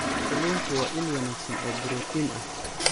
Kalluunku waa il wanaagsan oo borotiin ah.